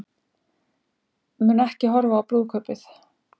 Mun ekki horfa á brúðkaupið